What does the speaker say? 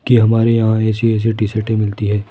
कि हमारे यहां ऐसी ऐसी टी शर्ट ही मिलती है।